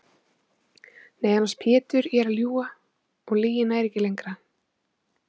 Nei annars Pétur ég er að ljúga og lygin nær ekki lengra.